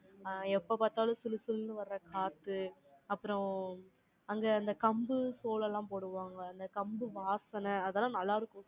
ஆ, எப்ப பாத்தாலும், சுளுசுலுன்னு வர்ற காத்து, அப்புறம், அங்க, அந்த கம்பு, சோளம் எல்லாம் போடுவாங்க. அந்த கம்பு, வாசனை, அதெல்லாம், நல்லா இருக்கும்